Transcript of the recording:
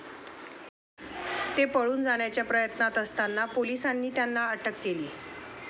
ते पळून जाण्याच्या प्रयत्नात असताना पोलिसांनी त्यांना अटक केली.